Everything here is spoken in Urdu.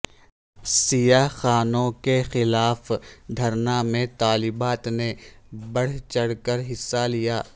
سیاہ قانون کے خلاف دھرنا میں طالبات نے بڑھ چڑھ کر حصہ لیا